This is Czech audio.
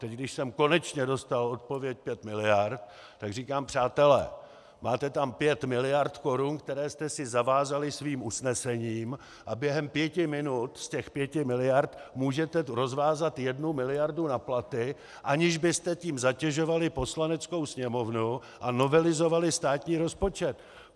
Teď, když jsem konečně dostal odpověď pět miliard, tak říkám: Přátelé, máte tam pět miliard korun, které jste si zavázali svým usnesením, a během pěti minut z těch pěti miliard můžete rozvázat jednu miliardu na platy, aniž byste tím zatěžovali Poslaneckou sněmovnu a novelizovali státní rozpočet.